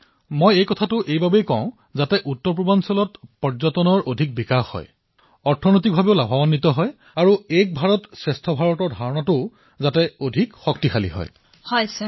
প্ৰধানমন্ত্ৰীঃ এই কথা মই সদায়েই কও আৰু ইয়াৰ ফলত উত্তৰ পূৰ্বাঞ্চলত পৰ্যটনো বিকশিত হব অৰ্থনীতি সমৃদ্ধ হব আৰু এক ভাৰতশ্ৰেষ্ঠ ভাৰতৰ সপোনো সৱলীকৃত হব